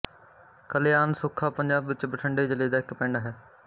ਕਲਿਆਨ ਸੁੱਖਾ ਪੰਜਾਬ ਵਿੱਚ ਬਠਿੰਡੇ ਜ਼ਿਲ੍ਹੇ ਦਾ ਇੱਕ ਪਿੰਡ ਹੈ